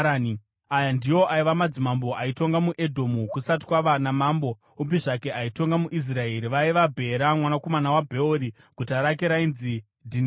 Aya ndiwo aiva madzimambo aitonga muEdhomu kusati kwava namambo upi zvake aitonga muIsraeri vaiva: Bhera mwanakomana waBheori, guta rake rainzi Dhinihabha.